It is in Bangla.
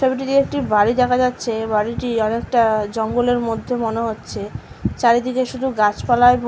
ছবিটিতে একটি বাড়ি দেখা যাচ্ছে। বাড়িটি আর একটা জঙ্গলের মধ্যে মনে হচ্ছে চারিদিকে শুধু গাছপালায় ভ --